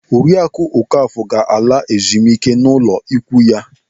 Oriaku Okafọ ga-ala ezemike n'ụlọ ikwu ya.